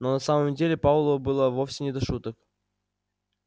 но на самом деле пауэллу было вовсе не до шуток